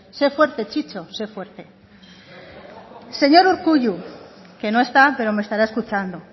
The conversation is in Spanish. sé fuerte chicho sé fuerte señor urkullu que no está pero me estará escuchando